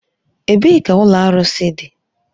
Ebee ka ụlọ arụsị dị?